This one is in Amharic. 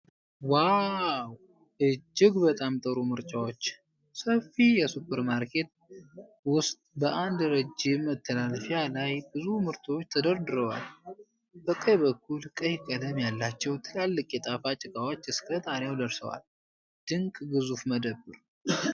ዋው፣ እጅግ በጣም ጥሩ ምርጫዎች! ሰፊ የሱፐርማርኬት ውስጥ በአንድ ረጅም መተላለፊያ ላይ ብዙ ምርቶች ተደርድረዋል። በቀኝ በኩል፣ ቀይ ቀለም ያላቸው ትላልቅ የጣፋጭ እቃዎች እስከ ጣሪያው ደርሰዋል። ድንቅ ግዙፍ መደብር!